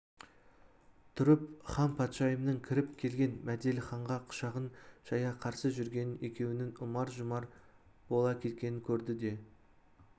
тұрып ханпатшайымның кіріп келген мәделіханға құшағын жая қарсы жүргенін екеуінің ұмар-жұмар бола кеткенін көрді де